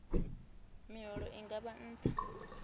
miholo i nga vha nṱha